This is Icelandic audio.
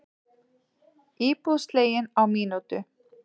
Íbúð slegin á mínútu